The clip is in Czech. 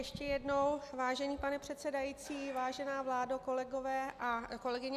Ještě jednou, vážený pane předsedající, vážená vládo, kolegyně a kolegové.